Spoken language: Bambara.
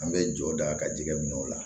An bɛ jɔ da ka jɛgɛ minɛ o la